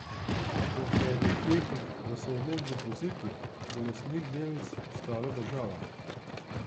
Po petih letih v sodnem depozitu bo lastnik delnic postala država.